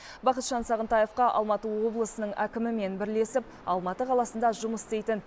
бақытжан сағынтаевқа алматы облысының әкімімен бірлесіп алматы қаласында жұмыс істейтін